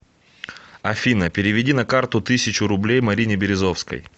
афина переведи на карту тысячу рублей марине березовской